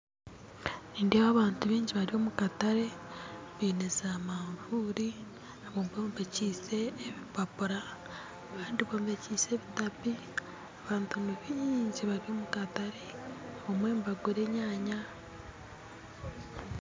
Nindeeba abantu baingi bari omukatare baine za manvuuri abamwe bombekiise ebipapura abandi bombekiise ebitapi abantu nibaingi bari omukatare abamwe nibagura enyaanya.